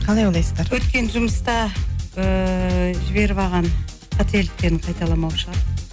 қалай ойлайсыздар өткен жұмыста ыыы жіберіп алған қателіктерін қайталамау шығар